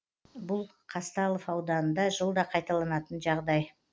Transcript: бұл қазталов ауданында жылда қайталанатын жағдай